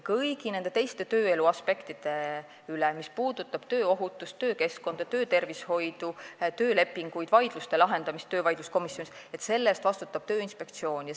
Kõigi teiste tööelu aspektide eest, mis puudutavad tööohutust, töökeskkonda, töötervishoidu, töölepinguid, vaidluste lahendamist töövaidluskomisjonis, vastutab Tööinspektsioon.